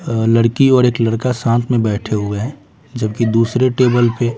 अ लड़की और एक लड़का साथ में बैठे हुए हैं जबकि दूसरे टेबल पे।